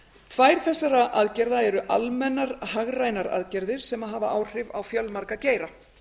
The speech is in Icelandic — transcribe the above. tvær þessara aðgerða eru almennar hagrænar aðgerðir sem hafa áhrif á fjölmarga geira